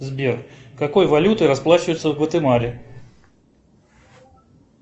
сбер какой валютой расплачиваются в гватемале